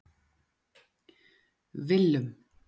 Willum